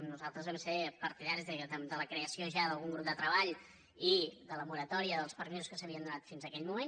nosaltres vam ser partidaris de la creació ja d’algun grup de treball i de la moratòria dels permisos que s’havien donat fins aquell moment